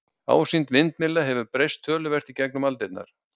ásýnd vindmylla hefur breyst töluvert í gegnum aldirnar